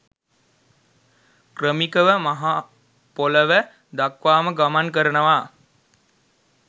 ක්‍රමිකව මහ පොළව දක්වාම ගමන් කරනවා.